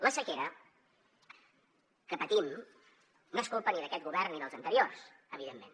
la sequera que patim no és culpa ni d’aquest govern ni dels anteriors evidentment